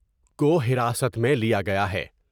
کو حراست میں لیا گیا ہے ۔